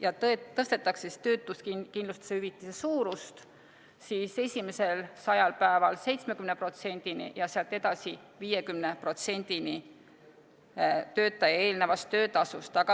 Ja töötuskindlustushüvitise suurus tõstetakse esimesel 100 päeval 70%-ni ja sealt edasi 50%-ni töötaja eelnevast töötasust.